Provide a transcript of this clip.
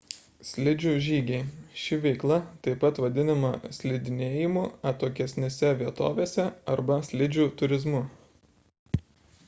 slidžių žygiai ši veikla taip pat vadinama slidinėjimu atokesnėse vietovėse arba slidžių turizmu